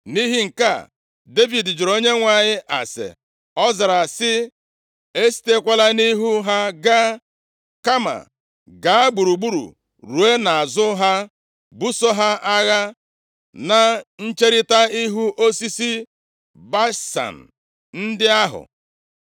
Nʼihi nke a, Devid jụrụ Onyenwe anyị ase, ọ zara sị, “Esitekwala nʼihu ha gaa, kama gaa gburugburu ruo nʼazụ ha, buso ha agha na ncherita ihu osisi balsam ndị ahụ.